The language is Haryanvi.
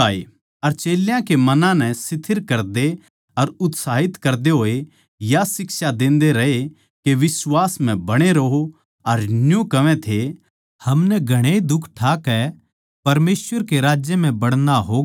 अर चेल्यां के मनां नै स्थिर करदे अर उत्साहित करते होए या शिक्षा देते रह्ये के बिश्वास म्ह बणे रहो अर न्यू कहवै थे हमनै घणे दुख ठाकै परमेसवर के राज्य म्ह बड़ना होगा